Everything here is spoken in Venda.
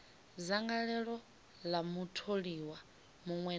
dzangalelo ḽa mutholiwa muṅwe na